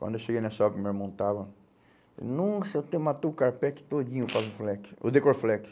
Quando eu cheguei nessa obra, meu irmão estava... Nossa, até matou o carpete todinho com o decor flex.